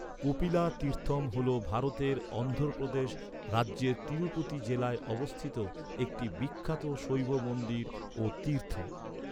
কপিলা তীর্থম হল ভারতের অন্ধ্রপ্রদেশ রাজ্যের তিরুপতি জেলায় অবস্থিত একটি বিখ্যাত শৈব মন্দির ও তীর্থ।